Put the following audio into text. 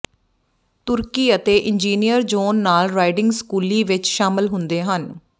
ਤੁਰਕੀ ਅਤੇ engineer John ਨਾਲ ਰਾਈਡਿੰਗ ਸਕੂਲੀ ਵਿਚ ਸ਼ਾਮਲ ਹੁੰਦੇ ਹਨ